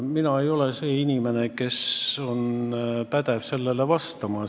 Mina ei ole see inimene, kes on pädev sellele vastama.